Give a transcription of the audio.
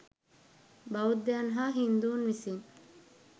බෞද්ධයන් හා හින්දුන් විසින්